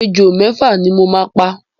Ejò mẹ́fà ni mo máa pa.